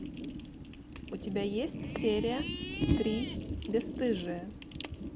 у тебя есть серия три бесстыжие